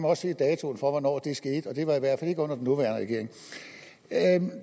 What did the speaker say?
også se datoen for hvornår det skete og det var i hvert fald ikke under den nuværende regering